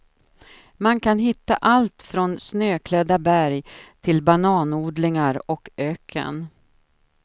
Man kan hitta allt från snöklädda berg till bananodlingar och öken.